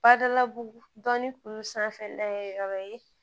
Badalabugu dɔnni kuru sanfɛ dayɛlɛ yɔrɔ ye